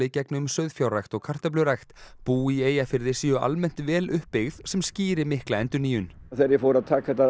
gegni um sauðfjárrækt og kartöflurækt bú í Eyjafirði séu almennt vel uppbyggð sem skýri mikla endurnýjun þegar ég fór að taka þetta